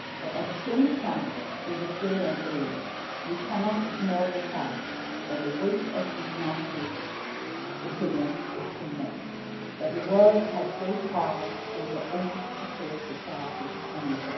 But, at the same time, in this day and age, we cannot ignore the fact that the weight of international opinion is immense and that the world has great power over any particular society anywhere.